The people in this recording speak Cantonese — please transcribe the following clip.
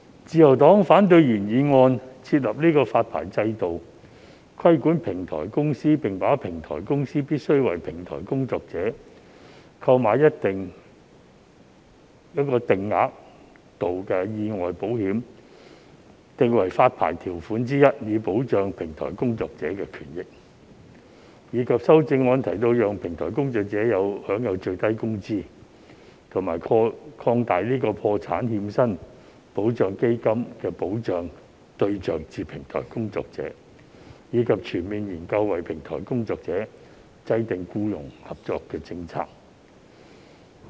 自由黨反對原議案提出"設立發牌制度規管平台公司，並把平台公司必須為平台工作者購買一定額度的意外保險訂為發牌條款之一，以保障平台工作者的權益"，以及修正案提到"讓平台工作者享有最低工資"和"擴大破產欠薪保障基金的保障對象至平台工作者，以及全面研究為平台經濟制訂僱傭政策"。